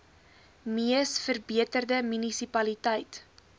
mees verbeterde munisipaliteit